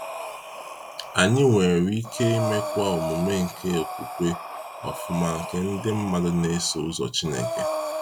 Anyị nwere ike imekwa omume nke okwukwe ọfụma nke ndi mmadụ n'eso ụzọ Chineke.